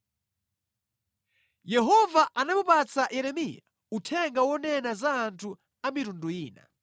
Yehova anamupatsa Yeremiya uthenga wonena za anthu a mitundu ina.